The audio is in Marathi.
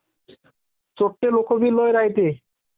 चोरटे लोक बी लयं राह्यत्ये......